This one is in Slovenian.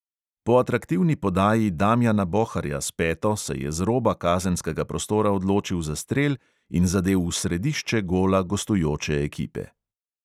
Po atraktivni podaji damjana boharja s peto se je z roba kazenskega prostora odločil za strel in zadel v središče gola gostujoče ekipe.